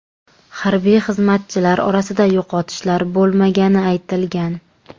Harbiy xizmatchilar orasida yo‘qotishlar bo‘lmagani aytilgan.